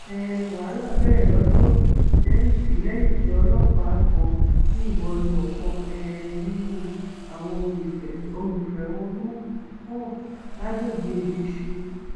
um wàhálà bẹrẹ lọdọ lẹyìn tí lẹyìn tí ọlọpàá kan yìnbọn lu ọkan um nínú àwọn olùfẹ olùfẹhónú náà lágbègbè ìdísìn